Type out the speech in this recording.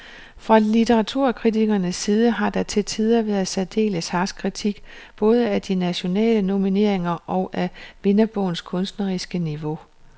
Fra litteraturkritikernes side har der til tider været særdeles harsk kritik både af de nationale nomineringer og af vinderbogens kunstneriske niveau.